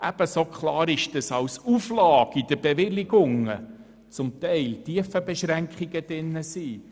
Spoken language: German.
Ebenso klar ist, dass als Auflage in den Bewilligungen zum Teil Tiefenbeschränkungen enthalten sind.